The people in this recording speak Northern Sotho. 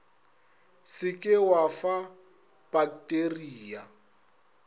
se ke wa fa pakteria